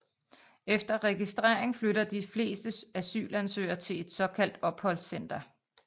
Efter registrering flytter de fleste asylansøgerne til et såkaldt opholdscenter